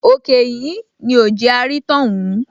Òkè ìhín ni ò jẹ́ á rí tọ́hún